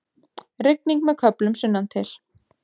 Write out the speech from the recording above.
Rigning með köflum sunnantil